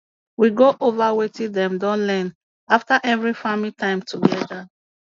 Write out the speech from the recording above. we go over wetin dem don learn after every farming time together